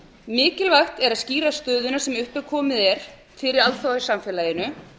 mikilvægt er að skýra stöðuna sem upp er komin fyrir alþjóðasamfélaginu